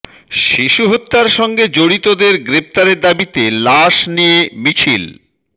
শিশু হত্যার সঙ্গে জড়িতদের গ্রেফতারের দাবিতে লাশ নিয়ে মিছিল